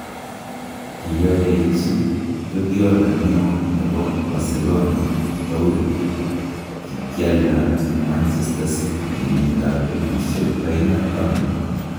Kiyooyeechi Guardiola neon nebo Barcelona Toure kinkyalda en Manchester city kenyiitab 2010